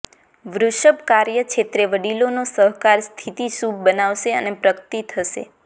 વૃષભ કાર્યક્ષેત્રે વડીલોનો સહકાર સ્થિતિ શુભ બનાવશે અને પ્રગતિ થશે